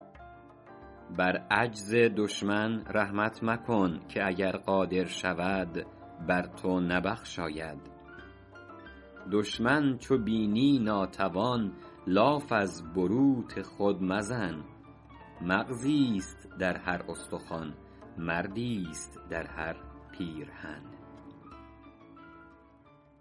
بر عجز دشمن رحمت مکن که اگر قادر شود بر تو نبخشاید دشمن چو بینی ناتوان لاف از بروت خود مزن مغزیست در هر استخوان مردیست در هر پیرهن